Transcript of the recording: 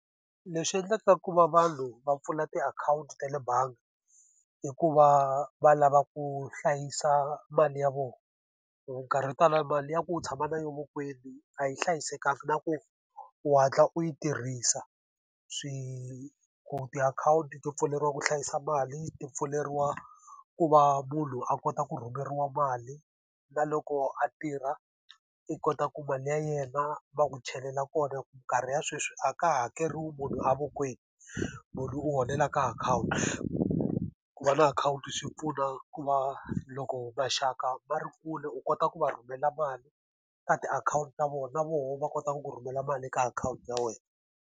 Leswi endlaka ku va vanhu va pfula tiakhawunti ta le bangi, i ku va va lava ku hlayisa mali ya vona hikuva nkarhi wo tala mali ya ku u tshama na yona vokweni a yi hlayisekanga na ku u hatla u yi tirhisa. tiakhawunti to pfuleriwa ku hlayisa mali ti pfuleriwa ku va munhu a kota ku rhumeriwa mali, na loko a tirha i kota ku mali ya yena va n'wi chelela kona hikuva minkarhi ya sweswi a ka hakeriwi munhu a vokweni, munhu u holela ka akhawunti. Ku va na akhawunti swi pfuna ku va loko maxaka ma ri kule u kota ku va rhumela mali, ka tiakhawunti ta vona na vona va kota ku ku rhumela mali eka akhawunti ya wena.